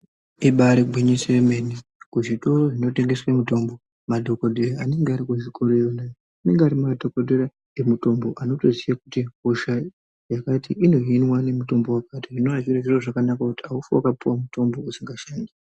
Ibaari gwinyiso yemene kuzvitoro zvinotengeswe mutombo madhokodheya anenge ari kuzvitora iyona, anenge ari madhokodheya emitombo anotoziya kuti hosha yakati inohiniwa ngemutombo wakati, zvinova zviri zviro zvakanaka kuti haufi wakapiwa mutombo usikashandi.